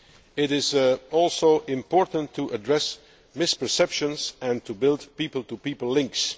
It is also important to address misperceptions and to build people to people links.